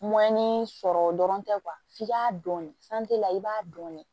sɔrɔ dɔrɔn tɛ f'i k'a dɔn la i b'a dɔn de